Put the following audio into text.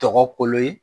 Tɔgɔ kolo ye